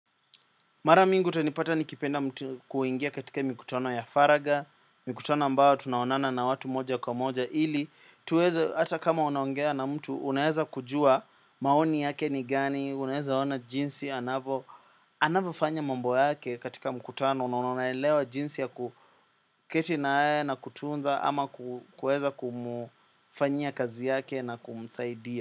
Mara mingi utanipata nikipenda mti kuingia katika mkutano ya faragha, mikutano ambayo tunaonana na watu moja kwa moja, ili tuweze hata kama unaongea na mtu, unaweza kujua maoni yake ni gani, unaweza ona jinsi, anavyo, anavyofanya mambo yake katika mkutano, na unaonaelewa jinsi ya kuketi nae na kutunza ama kuweza kumfanyia kazi yake na kumsaidia.